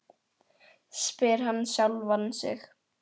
spyr hann sjálfan sig.